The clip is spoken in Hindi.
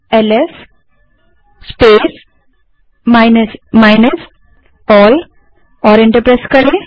अबls space minus minus all type करें और एंटर दबायें